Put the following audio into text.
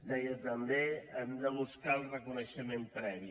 deia també hem de buscar el reconeixement previ